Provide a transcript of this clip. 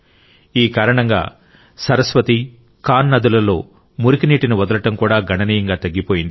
ఈ కారణంగా సరస్వతి కాన్ నదులలో మురికి నీటిని వదలడం కూడా గణనీయంగా తగ్గిపోయింది